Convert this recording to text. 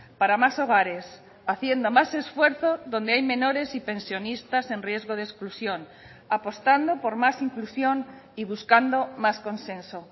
para más hogares haciendo más esfuerzo donde hay menores y pensionistas en riesgo de exclusión apostando por más inclusión y buscando más consenso